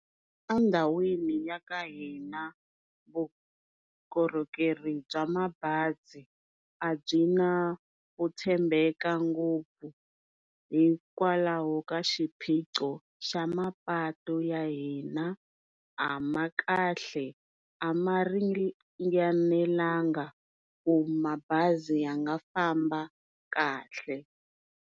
Endhawini ya ka hina vukorhokeri bya mabazi a byi na ku tshembeka ngopfu hikwalaho ka xiphiqo xa mapatu ya hina, a ma kahle a ma ringanelangi ku mabazi ya nga famba kahle.